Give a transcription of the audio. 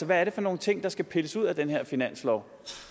hvad er det for nogle ting der skal pilles ud af den her finanslov